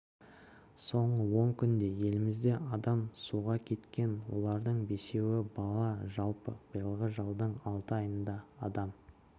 соңғы он күнде елімізде адам суға кеткен олардың бесеуі бала жалпы биылғы жылдың алты айында адам